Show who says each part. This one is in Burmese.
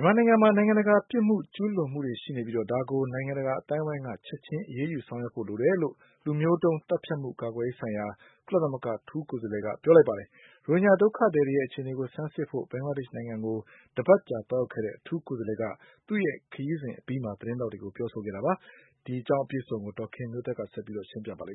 Speaker 1: မြန်မာနိုင်ငံမှာ နိုင်ငံတကာ ရာဇဝတ်မှုတွေ ကျူးလွန်မှု ရှိနေပြီး ဒါကို နိုင်ငံတကာ အသိုင်းအဝိုင်းက ချက်ချင်း အရေးယူဆောင်ရွက်ဖို့ လိုတယ်လို့ လူမျိုးတုံးသတ်ဖြတ်မှု ကာကွယ်ရေးဆိုင်ရာ ကုလသမဂ္ဂ အထူးကိုယ်စားလှယ်က ပြောကြားလိုက်ပါတယ်။ ရိုဟင်ဂျာဒုက္ခသည်တွေရဲ့ အခြေနေကို ဆန်းစစ်ဖို့ ဘင်္ဂလားဒေ့ရှ်နိုင်ငံကို တပတ်ကြာ သွားရောက်ခဲ့တဲ့ အထူးကိုယ်စားလှယ်က သူ့ခရီးစဉ်အပြီး သတင်းထောက်တွေကို ပြောကြားခဲ့တာ ဖြစ်ပါတယ်။ အပြည့်အစုံကို ဒေါ်ခင်မျိုးသက်က ပြောပြပေးမှာပါ။